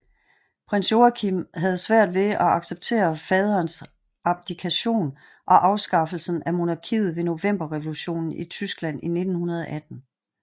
Prins Joachim havde svært ved at acceptere faderens abdikation og afskaffelsen af monarkiet ved Novemberrevolutionen i Tyskland i 1918